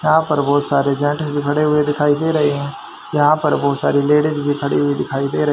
यहां पर बहुत सारे जेंट्स भी खड़े हुए दिखाई दे रहे हैं यहां पर बहुत सारी लेडिज भी खड़ी हुई दिखाई दे र --